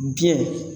Biyɛn